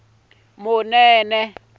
munene